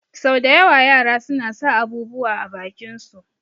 Sau da yawa yara suna sa abubuwa a bakin su